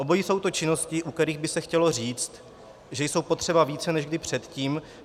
Obojí jsou to činnosti, u kterých by se chtělo říct, že jsou potřeba více než kdy předtím.